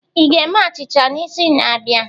Ị ga-eme achịcha n'izu na-abịa?